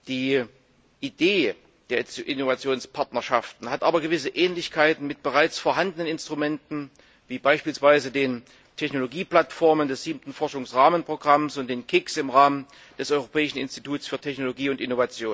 Die Idee der Innovationspartnerschaften hat aber gewisse Ähnlichkeiten mit bereits vorhandenen Instrumenten wie beispielsweise den Technologieplattformen des Siebten Forschungsrahmenprogramms und den KICs im Rahmen des Europäischen Innovations und Technologieinstituts.